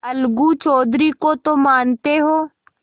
अलगू चौधरी को तो मानते हो